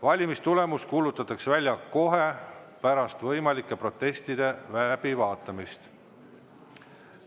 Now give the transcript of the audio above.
Valimistulemus kuulutatakse välja kohe pärast võimalike protestide läbivaatamist.